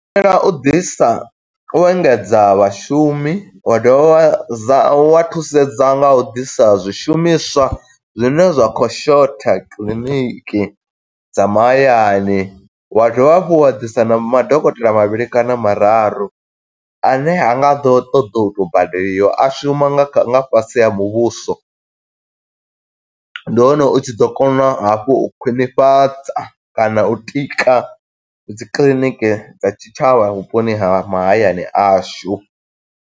U ḓisa u engedza vhashumi, wa dovha wa dza wa thusedza nga u ḓisa zwishumiswa zwine zwa khou shotha kiḽiniki dza mahayani, wa dovha hafhu wa ḓisa na madokotela mavhili kana mararu, ane ha nga ḓo ṱoḓa u to badeliwa a shuma nga fhasi ha muvhuso, ndi hone u tshi ḓo kona hafhu u khwiṋifhadza kana u tika dzikiḽiniki dza tshitshavha vhuponi ha mahayani ashu.